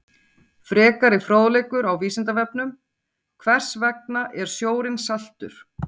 Frekari fróðleikur á Vísindavefnum: Hvers vegna er sjórinn saltur?